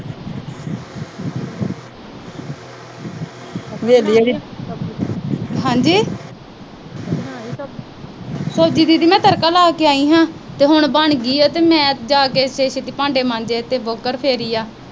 ਹਾਂਜੀ। ਸਬਜੀ ਦੀਦੀ ਮੈਂ ਤੜਕਾ ਲਾ ਕੇ ਆਈ ਆ ਤੇ ਹੁਣ ਬਣ ਗਈ ਆ ਤੇ ਮੈਂ ਛੇਤੀ-ਛੇਤੀ ਭਾਂਡੇ ਮਾਂਜੇ ਤੇ ਵੋਕਰ ਫੇਰੀ ਆ।